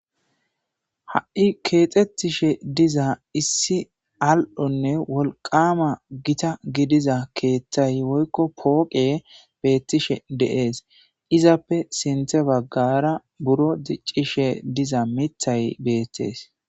Ha'i kexetishe diza issi wolqamane al'o gidida gitta gidiza woykon poqey betishe de'es izzappe sintha bagara gitta mithay